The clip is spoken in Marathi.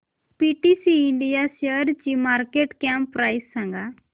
पीटीसी इंडिया शेअरची मार्केट कॅप प्राइस सांगा